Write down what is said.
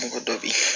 Mɔgɔ dɔ bi